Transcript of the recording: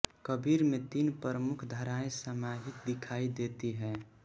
कबीर में तीन प्रमुख धाराएँ समाहित दिखाई देती हैं